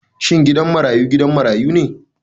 Shin gidan marayu gidan marayu ne?